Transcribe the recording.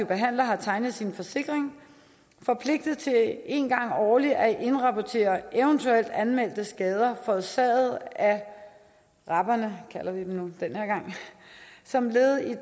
behandler har tegnet sin forsikring forpligtet til en gang årligt at indrapportere eventuelt anmeldte skader forårsaget af raberne kalder vi dem nu den her gang som led i